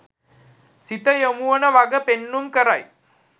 සිත යොමුවන වග පෙන්නුම් කරයි.